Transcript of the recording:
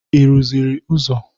Ị rụziri ụzọ?